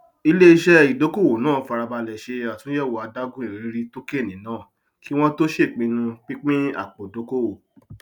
iléiṣẹ ìdókòwò náà fara balẹ ṣe àtúnyẹwò adágún ìrírí tókèènì náà kí wọn tó ṣèpinnu pínpín apòdókòwò